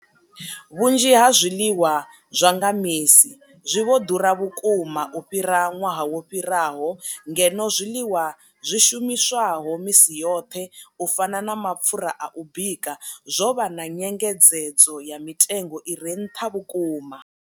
Vhunzhi ha zwiḽiwa zwa nga misi zwi vho ḓura vhukuma u fhira ṅwaha wo fhiraho, ngeno zwiḽiwa zwi shumiswaho misi yoṱhe u fana na mapfhura a u bika zwo vha na nyengedzedzo ya mitengo i re nṱha vhukuma.